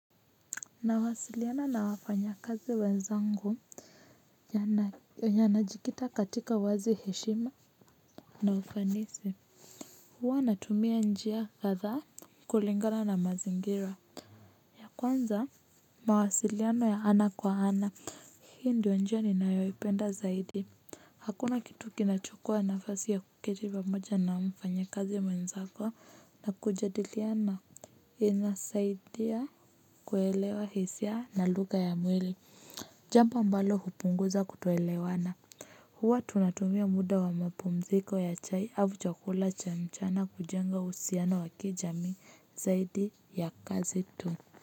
Nawasiliana na wafanya kazi wenzangu ya najikita katika wazi heshima na ufanisi. Huwa natumia njia kadhaa kulingana na mazingira. Kwanza mawasiliano ya ana kwa ana hii ndio njia ni nayoipenda zaidi. Hakuna kitu kinachukua nafasi ya kuketi pamoja na mfanya kazi wenzako na kujadiliana. Inasaidia kuelewa hisia na lugha ya mwili. Jambo ambalo hupunguza kutoelewana. Huwa tunatumia muda wa mapumziko ya chai au chakula cha mchana kujenga uhusiano wa kijamii zaidi ya kazi tu.